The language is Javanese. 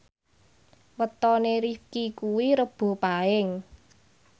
wetone Rifqi kuwi Rebo Paing